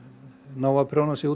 nái að prjóna sig